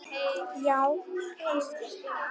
Já, kannski